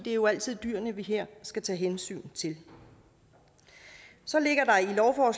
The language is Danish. er jo altid dyrene vi her skal tage hensyn til så ligger